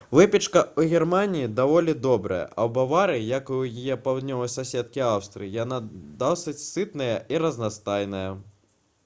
выпечка ў германіі даволі добрая а ў баварыі як і ў яе паўднёвай суседкі аўстрыі яна досыць сытная і разнастайная